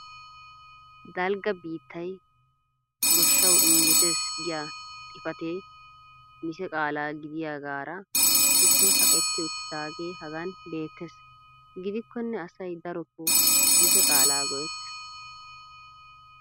Dalgga biittay goshshawu injjetees giya xifatee mise qaalaa giyaagaara isippe kaqetti uttaagee hagan beettees. gidikkonne asay darotoo mise qaalaa go'ettees.